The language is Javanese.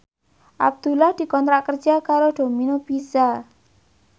Abdullah dikontrak kerja karo Domino Pizza